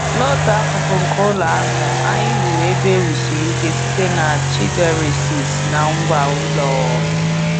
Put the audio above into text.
N'otu akụkụ nke ụlọ ahụ, anyị wuru "ebe e wusiri ike" site na na Chidiresses na ngwá ụlọ.